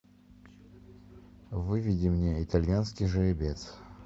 выведи мне итальянский жеребец